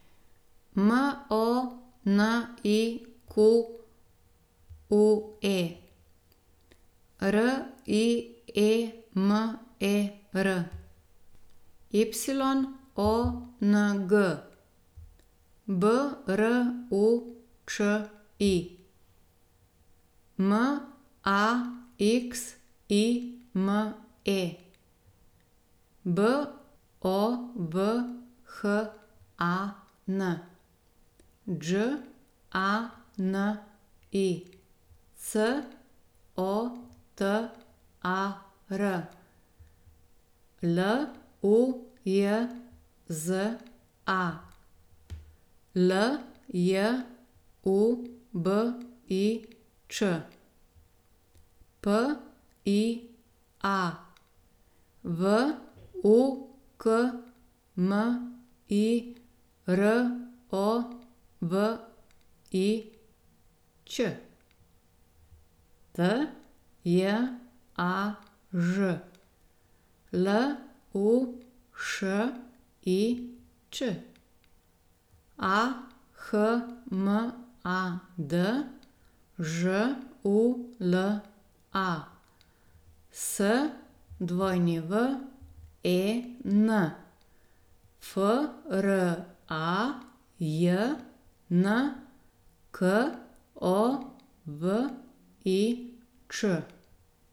Monique Riemer, Yong Bruči, Maxime Bovhan, Đani Cotar, Lujza Ljubič, Pia Vukmirović, Tjaž Lušić, Ahmad Žula, Swen Frajnkovič.